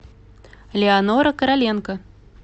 леонора короленко